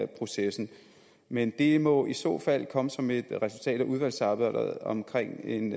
processen men det må i så fald komme som et resultat af udvalgsarbejdet omkring en